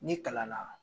Ni kalan na